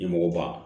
I mɔgɔ ba